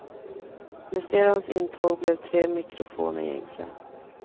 Med stereons intåg blev tre mikrofoner gängse.